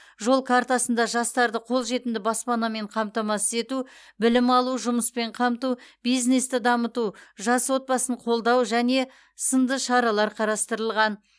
жол картасында жастарды қол жетімді баспанамен қамтамасыз ету білім алу жұмыспен қамту бизнесті дамыту жас отбасын қолдау және сынды шаралар қарастырылған